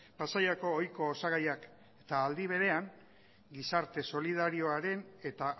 pasaiako oiko osagaiak eta aldi berean gizarte solidarioaren eta